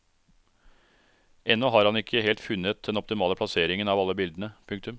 Ennå har han ikke helt funnet den optimale plasseringen av alle bildene. punktum